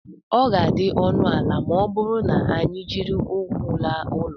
ọ ga-adị ọnụ ala ma ọ bụrụ na anyị jiri ụkwụ laa ụlọ